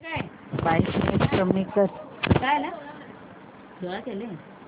brightness कमी कर